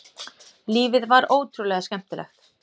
Lífið var ótrúlega skemmtilegt.